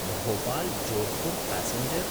भोपाल्–जोधपुर् passenger